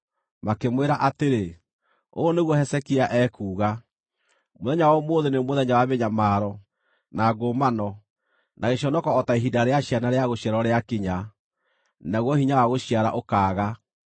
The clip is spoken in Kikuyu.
Makĩmwĩra atĩrĩ, “Ũũ nĩguo Hezekia ekuuga: Mũthenya wa ũmũthĩ nĩ mũthenya wa mĩnyamaro, na ngũmano, na gĩconoko o ta ihinda rĩa ciana rĩa gũciarwo rĩakinya, naguo hinya wa gũciara ũkaaga.